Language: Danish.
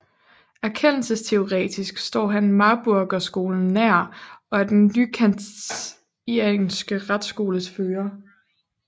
Erkendelsesteoretisk står han Marburgerskolen nær og er den nykantianske retsskoles fører